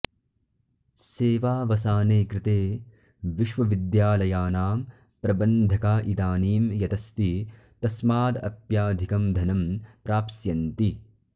सेवावसाने कृते विश्वविद्यालयानां प्रबन्धका इदानीं यदस्ति तस्मादप्याधिकं धनं प्राप्स्यन्ति